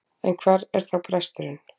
En hvar er þá bresturinn?